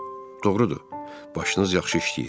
Doğrudur, başınız yaxşı işləyir.